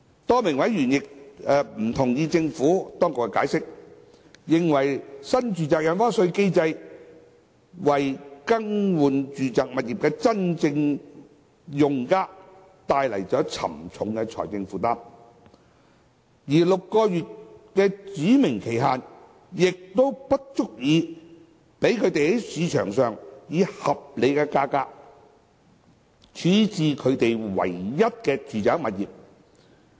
多名委員不同意政府當局的解釋，認為新住宅印花稅機制為更換住宅物業的真正用家帶來沉重的財政負擔，而6個月的指明期限亦不足以讓他們在市場上以合理價格處置其唯一的住宅物業。